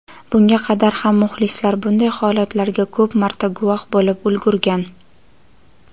bunga qadar ham muxlislar bunday holatlarga ko‘p marta guvoh bo‘lib ulgurgan.